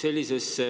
Sellisesse